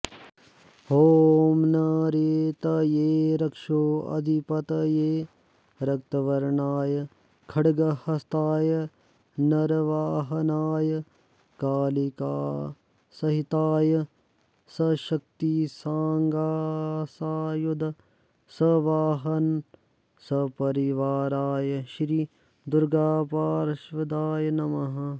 ॐ निरृतये रक्षोऽधिपतये रक्तवर्णाय खड्गहस्ताय नरवाहनाय कालिकासहिताय सशक्तिसाङ्गसायुध सवाहन सपरिवाराय श्री दुर्गापार्षदाय नमः